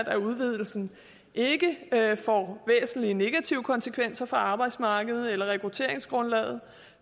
at udvidelsen ikke får væsentlige negative konsekvenser for arbejdsmarkedet eller rekrutteringsgrundlaget